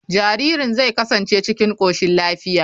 Jaririn zai kasance cikin koshin lafiya.